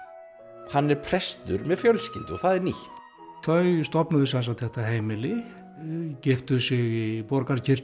hann er prestur með fjölskyldu og það er nýtt þau stofnuðu sem sagt þetta heimili giftu sig í